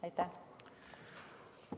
Aitäh!